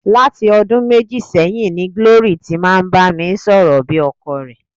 Láti ọdún méjì sẹ́yìn ni Glory ti máa ń bá mi sọ̀rọ̀ bí ọkọ rẹ̀.